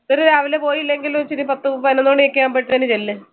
ഒത്തിരി രാവിലെ പോയില്ലെങ്കിലും ഒരു പത്തു പായ്‌നൊന്ന് മണി ആവുമ്പത്തെന് ചെല്ല്